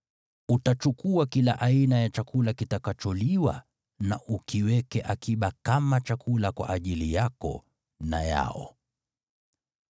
Utachukua kila aina ya chakula kitakacholiwa, na ukiweke akiba kama chakula kwa ajili yako na yao.”